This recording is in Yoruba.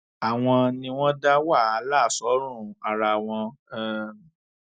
àwọn ni wọn dá wàhálà sọrùn ara wọn um